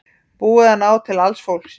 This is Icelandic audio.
Búið að ná til alls fólksins